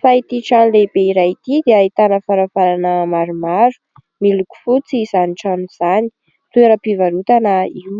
fa ity trano lehibe iray ity dia hitana varavarana maromaro, miloko fotsy izany trano izany, toeram-pivarotana io.